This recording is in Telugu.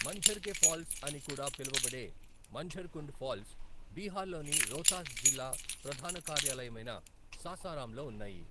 మంఝర్ కె ఫాల్స్ అని కూడా పిలువబడే మంఝర్ కుండ్ ఫాల్స్ బీహార్లోని రోహ్తాస్ జిల్లా ప్రధాన కార్యాలయమైన సాసారాంలో ఉన్నాయి.